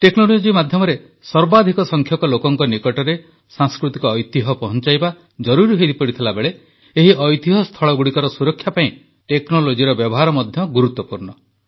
technology ମାଧ୍ୟମରେ ସର୍ବାଧିକ ସଂଖ୍ୟକ ଲୋକଙ୍କ ନିକଟରେ ସାଂସ୍କୃତିକ ଐତିହ୍ୟ ପହଂଚାଇବା ଜରୁରି ହୋଇଥିବାବେଳେ ଏହି ଐତିହ୍ୟସ୍ଥଳଗୁଡ଼ିକର ସୁରକ୍ଷା ପାଇଁ ଟେକ୍ନୋଲୋଜିର ବ୍ୟବହାର ମଧ୍ୟ ଗୁରୁତ୍ୱପୂର୍ଣ୍ଣ